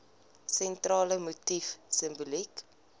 sentrale motief simboliek